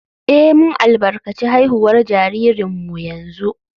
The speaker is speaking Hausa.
Eh, mun albarkaci haihuwar jaririnmu yanzu